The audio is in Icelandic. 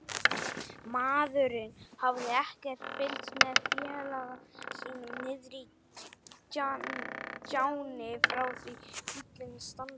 Maðurinn hafði ekkert fylgst með félaga sínum niðri í gjánni frá því bíllinn stansaði.